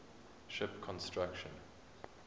ship construction